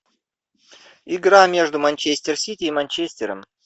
игра между манчестер сити и манчестером